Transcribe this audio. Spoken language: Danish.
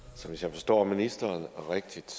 hvis jeg forstår ministeren rigtigt